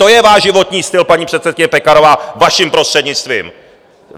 To je váš životní styl, paní předsedkyně Pekarová, vaším prostřednictvím.